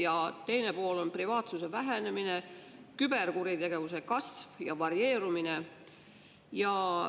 Ja teine pool on privaatsuse vähenemine, küberkuritegevuse kasv ja varieerumine.